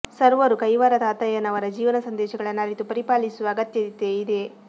ಸರ್ವರೂ ಕೈವಾರ ತಾತಯ್ಯನವರ ಜೀವನ ಸಂದೇಶಗಳನ್ನು ಅರಿತು ಪರಿಪಾಲಿಸುವ ಅಗತ್ಯತೆ ಇದೆ